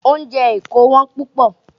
Oúnjẹ Èkó Wọ́n púpọ̀.